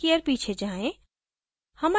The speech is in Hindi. एक year पीछे जाएँ